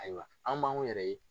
Ayiwa an b'anw yɛrɛ ye.